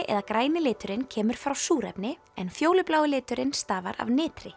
eða græni liturinn kemur frá súrefni en fjólublái liturinn stafar af